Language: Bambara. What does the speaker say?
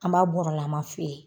An b'a bɔrɔlaman feere.